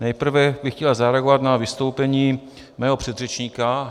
Nejprve bych chtěl zareagovat na vystoupení svého předřečníka.